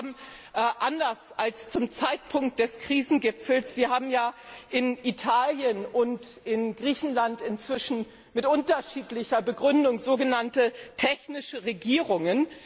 Wir haben anders als zum Zeitpunkt des Krisengipfels in Italien und in Griechenland inzwischen mit unterschiedlicher Begründung sogenannte technische Regierungen.